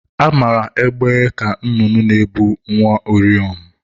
Amara egbe ka nnụnụ na-ebu nwa uriom.